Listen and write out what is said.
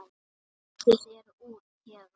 Komdu þér út héðan!